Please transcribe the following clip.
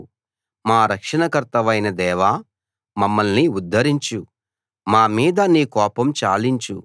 మా రక్షణకర్తవైన దేవా మమ్మల్ని ఉద్ధరించు మా మీద నీ కోపం చాలించు